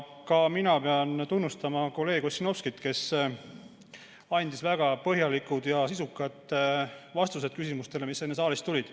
Ka mina pean tunnustama kolleeg Ossinovskit, kes andis väga põhjalikud ja sisukad vastused küsimustele, mis enne saalist tulid.